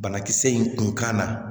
Banakisɛ in kun ka na